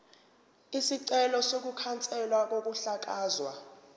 isicelo sokukhanselwa kokuhlakazwa